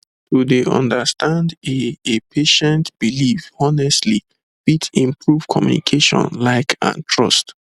to dey understand a a patient belief honestly fit improve communication like and trust